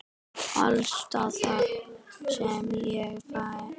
Alls staðar sem ég fer.